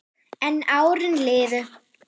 En árin liðu.